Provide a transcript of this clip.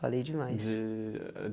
Falei demais. De ah a